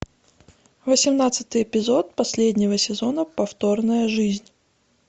восемнадцатый эпизод последнего сезона повторная жизнь